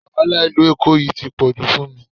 Wàhálà Ìlú Èkó yìí tí pọ̀jù fún mi